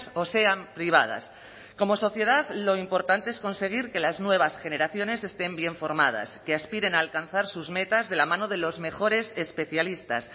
o sean privadas como sociedad lo importante es conseguir que las nuevas generaciones estén bien formadas que aspiren a alcanzar sus metas de la mano de los mejores especialistas